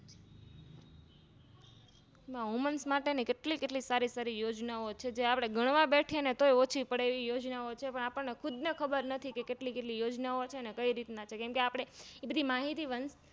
Woman માટેની કેટલી સારી સારી યોજના ઓ છે જે આપણે ઘણવા બેસીએતોય ઓછી પડે એવી યોજના ઓ છે પણ આપણે ખુદને ખબર નથી કેટલી કેટલી યોજનાઓ છે અન કઈ રીતના છે એ બધી માહિતી